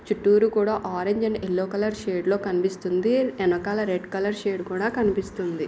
చుట్టూరు కూడ orange and yellow shade లో కనిపిస్తుంది ఎనకాల రెడ్ కలర్ షేడ్ కూడ కనిపిస్తుంది.